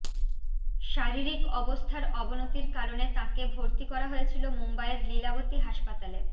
শারীরিক অবস্থার অবনতির কারণে তাঁকে ভর্তি করা হয়েছিল মুম্বইয়ের লীলাবতী হাসপাতালে